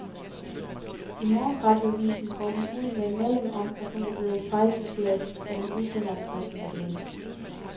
I morgenradioavisen går hun ud med en melding om, at hun er blevet fejlciteret, og at hun udsender en pressemeddelelse.